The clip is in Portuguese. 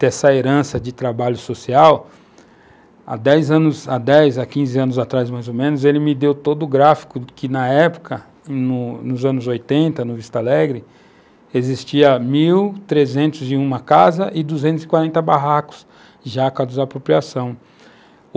dessa herança de trabalho social, há 10 anos, há 10, 15 anos mais ou menos, ele me deu todo o gráfico que, na época, nos anos 1980, no Vista Alegre, existiam 1.301 casas e 240 barracos já cada desapropriação.